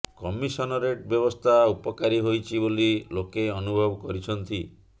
commissionerate ବ୍ୟବସ୍ଥା ଉପକାରୀ ହୋଇଛି ବୋଲି ଲୋକେ ଅନୁଭବ କରିଛନ୍ତି